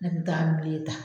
Ne kun bɛ taa ta